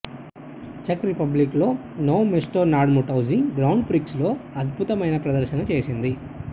check రిపబ్లిక్లో Nove Mesto nad Metuji grand prix లో అద్భుతమైన ప్రదర్శన చేసింది